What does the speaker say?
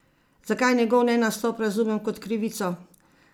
Zakaj njegov nenastop razumem kot krivico?